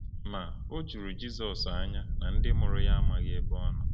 Ma, o juru Jizọs anya na ndị mụrụ ya amaghi ebe ọ nọ.